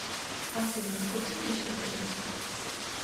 афина купи мне сюрприз